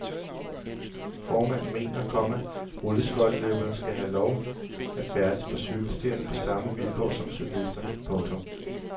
Formanden mener, komma rulleskøjteløberne skal have lov at færdes på cykelstierne på samme vilkår som cyklister. punktum